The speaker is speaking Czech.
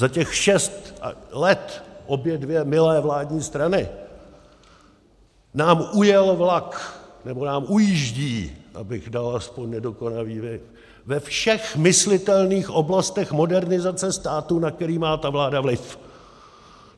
Za těch šest let, obě dvě milé vládní strany, nám ujel vlak, nebo nám ujíždí, abych dal aspoň nedokonavý vid, ve všech myslitelných oblastech modernizace státu, na které má ta vláda vliv.